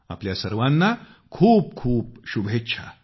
आपल्या सर्वांना खूप खूप शुभेच्छा